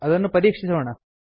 ಅದನ್ನು ಪರೀಕ್ಷಿಸೋಣ